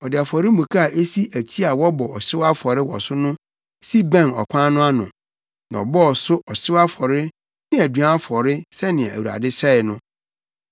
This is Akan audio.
Ɔde afɔremuka a esi akyi a wɔbɔ ɔhyew afɔre wɔ so no si bɛn ɔkwan no ano, na ɔbɔɔ so ɔhyew afɔre ne aduan afɔre sɛnea Awurade hyɛe no.